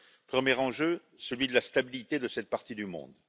Premier enjeu, celui de la stabilité de cette partie du monde.